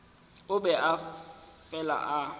o be a fela a